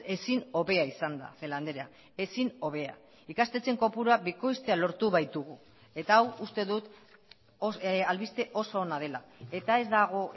ezin hobea izan da celaá andrea ezin hobea ikastetxeen kopurua bikoiztea lortu baitugu eta hau uste dut albiste oso ona dela eta ez dago